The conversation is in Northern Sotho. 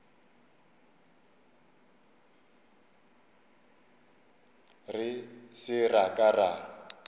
re se ra ka ra